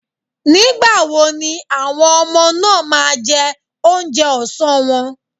Nígbà wo ni àwọn ọmọ náà máa jẹ oúnjẹ ọsán wọn.?